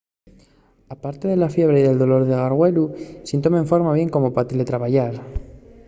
aparte de la fiebre y del dolor de gargüelu siéntome enforma bien como pa teletrabayar